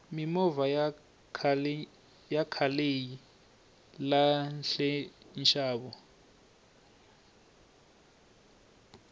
mimovha ya khaleyi lahlenxavo